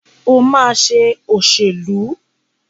Ó máa ṣe òṣèlú.